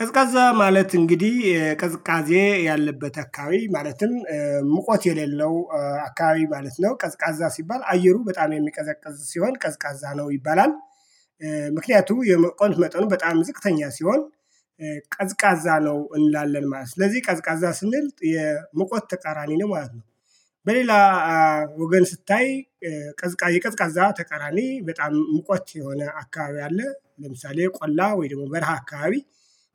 ቀዝቃዛ ማለት እንግዲህ ቅዝቃዜ ያለበት አካባቢ ማለትም ሙቀት የሌለው አካባቢ ማለት ነው ቀዝቃዛ ሲባል አየሩ በጣም የሚቀዘቅዝ ሲሆን ቀዝቃዛ ነው ይባላል። ምክንያቱም የሙቀት መጠኑ በጣም ዝቅተኛ ሲሆን ቀዝቃዛ ነው እንላለን ማለት ነው። ስለዚህ ቀዝቃዛ ስንል የሙቀት ተቃራኒ ነው ማለት ነው። በሌላ ወገን ስታይ ቀዝቃዛ የቀዝቃዛ ተቀራኒ በጣም ሙቆች የሆነ አካባቢ አለ። ለምሳሌ ቆላ ወይ ደግሞ በረሃ አካባቢ።